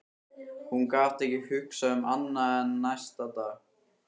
Hún gat ekki hugsað um annað en hann næstu daga.